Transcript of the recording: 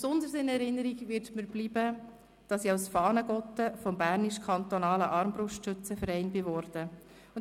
Besonders in Erinnerung bleiben wird mir, dass ich beim Berner Kantonalen Armbrustschützen Verband «Fahnengotte» wurde.